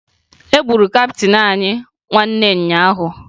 E gburu kaptịn anyị nwanne ụnyaahụ